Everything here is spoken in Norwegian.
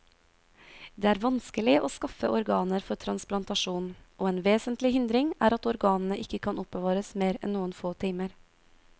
Det er vanskelig å skaffe organer for transplantasjon, og en vesentlig hindring er at organene ikke kan oppbevares mer enn noen få timer.